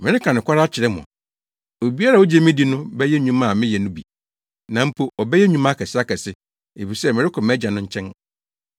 Mereka nokware akyerɛ mo, obiara a ogye me di no bɛyɛ nnwuma a meyɛ no bi na mpo ɔbɛyɛ nnwuma akɛseakɛse, efisɛ merekɔ mʼAgya no nkyɛn.